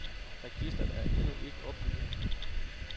Registret er endnu ikke opbygget.